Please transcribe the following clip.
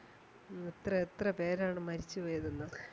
എത്രെ എത്രെ പേരാണ് മരിച്ചു വീഴുന്നത്